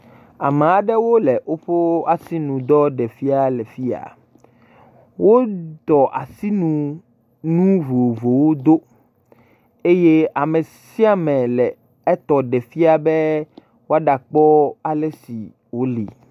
Ame aɖewo le woƒe asinudɔ ɖem fia le afi ya, wotɔ asinu nu vovovowo do eye ame sia ame le etɔ ɖe fia be woaɖakpɔ ale si wo li.